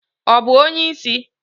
Ọ bụ onye isi?